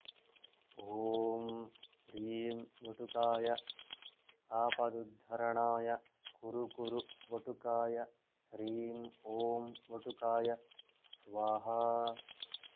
ॐ ह्रीं वटुकाय आपदुद्धरणाय कुरु कुरु वटुकाय ह्रीं ॐ वटुकाय स्वाहा